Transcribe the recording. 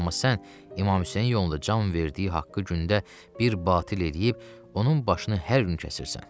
Amma sən İmam Hüseyn yolunda can verdiyi haqqı günündə bir batil eləyib, onun başını hər gün kəsirsən.